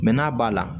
Mɛ n'a b'a la